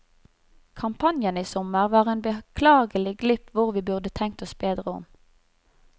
Kampanjen i sommer var en beklagelig glipp hvor vi burde tenkt oss bedre om.